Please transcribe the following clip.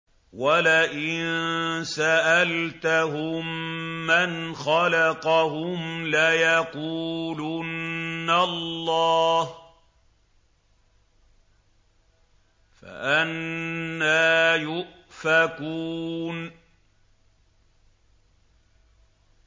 وَلَئِن سَأَلْتَهُم مَّنْ خَلَقَهُمْ لَيَقُولُنَّ اللَّهُ ۖ فَأَنَّىٰ يُؤْفَكُونَ